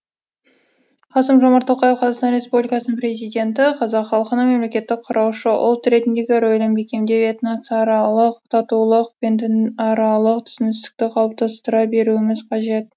қасым жомарт тоқаев қазақстан республикасының президенті қазақ халқының мемлекеттік құраушы ұлт ретіндегі рөлін бекемдеп этносаралық татулық пен дінаралық түсіністікті қалыптастыра беруіміз қажет